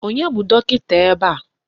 Onye bụ dọkịta ebe a?